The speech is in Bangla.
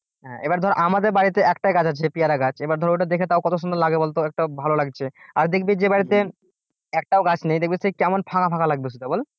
হ্যাঁ এবার ধর আমাদের বাড়িতে একটাই গাছ আছে পেয়ারা গাছ এবার ধর ওটা দেখে তাও কত সুন্দর লাগে বলতো একটা ভালো লাগছে আর দেখবি যে বাড়িতে একটাও গাছ নেই দেখবি সে কেমন ফাঁকা ফাঁকা লাগবে শুদ্ধ বল?